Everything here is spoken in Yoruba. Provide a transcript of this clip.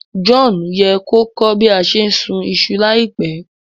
John ye ko kọ́ bi a se n sùn isu láìpẹ́